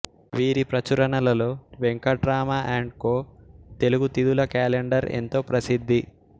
వీరి ప్రచురణలలో Venkatrama and co Telugu తిధుల కాలెండర్ ఎంతో ప్రసిద్ది